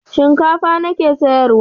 Shinkafa na ke sayarwa.